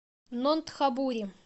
нонтхабури